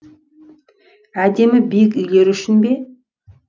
әдемі биік үйлері үшін бе